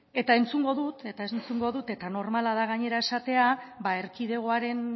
eta entzungo dut eta dut eta normala da gainera esatea erkidegoaren